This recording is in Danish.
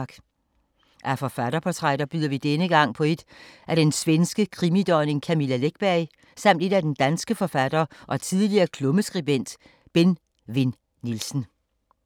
Af forfatterportrætter byder vi denne gang på et af den svenske krimidronning Camilla Läckberg, samt et af den danske forfatter og tidligere klummeskribent Benn Vinn Nielsen.